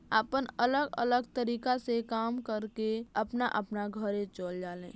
आपन अलग-अलग तरीका से काम करके अपना अपना घरे चल जाले।